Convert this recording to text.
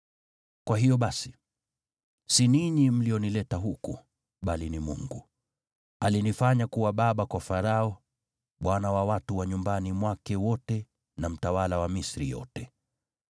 “Kwa hiyo basi, si ninyi mlionileta huku, bali ni Mungu. Alinifanya kuwa baba kwa Farao, bwana wa watu wa nyumbani mwake wote, na mtawala wa Misri yote.